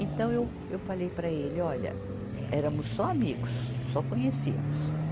Então, eu, eu falei para ele, olha, éramos só amigos, só conhecíamos.